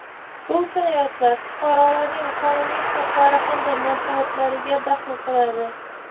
bu jinoyatlar fuqarolarning qonuniy huquqlari hamda manfaatlariga daxl qiladi.